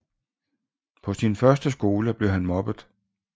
På sin første skole blev han mobbet